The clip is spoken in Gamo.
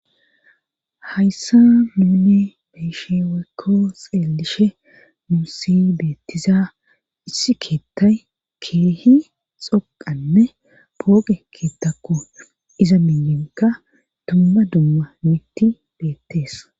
hayssa muuni meyshe weykko xeelishe muussi beettiza issi keettay keehi xoqanne pooge keettakko iza minyinka dumma dumma mitti beettees